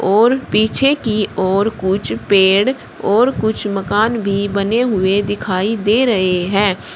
और पीछे की ओर कुछ पेड़ और कुछ मकान भी बने हुए दिखाई दे रहे हैं।